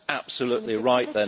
Absolutely right